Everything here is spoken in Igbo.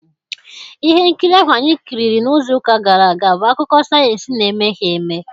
Ihe nkiri ahụ anyị kiriri n'izu ụka gara aga bụ akụkọ sayensị na-emeghị eme.